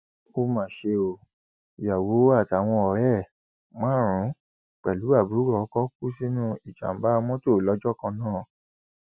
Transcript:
ó mà ṣe o ìyàwó àtàwọn ọrẹ ẹ márùnún pẹlú àbúrò ọkọ kú sínú ìjàmbá mọtò lọjọ kan náà